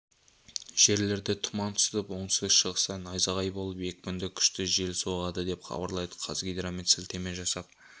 жерлерде тұман түсіп оңтүстік-шығыста найзағай болып екпіні күшті жел соғады деп хабарлайды қазгидромет сілтеме жасап